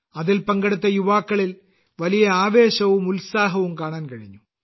അതിൽ പങ്കെടുത്ത യുവാക്കളിൽ വലിയ ആവേശവും ഉത്സാഹവും കാണാൻ കഴിഞ്ഞു